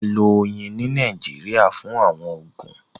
À lọ̀ oyin ni Nàìjíríà fún àwọn oogun.